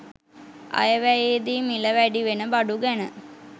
අයවැයේදී මිල වැඩිවෙන බඩු ගැන